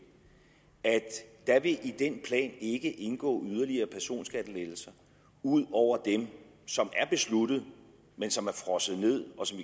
at der i den plan ikke vil indgå yderligere personskattelettelser ud over dem som er besluttet men som er frosset ned og som